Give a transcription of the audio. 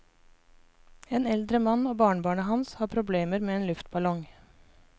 En eldre mann og barnebarnet hans har problemer med en luftballong.